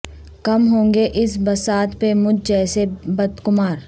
کم ہوں گے اس بساط پہ مجھ جیسے بد قمار